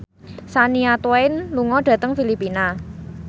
Shania Twain lunga dhateng Filipina